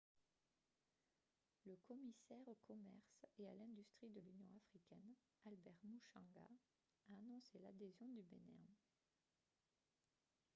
le commissaire au commerce et à l'industrie de l'union africaine albert muchanga a annoncé l'adhésion du bénin